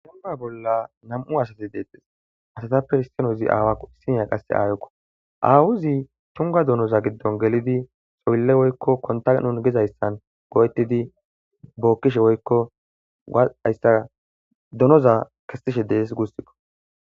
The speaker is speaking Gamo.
Dembba bolla nami'u asati deettes. Izappe issinozi aawakko issiniya aayokko. Aawozi tungga donoza giddon gelidi xoylle woykko kontta gizayssa go'etidi bookkishe woykko hayssa donoza kessishe deesi guussikko.